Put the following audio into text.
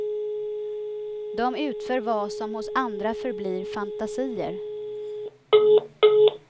De utför vad som hos andra förblir fantasier.